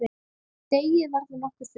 Deigið verður nokkuð þunnt.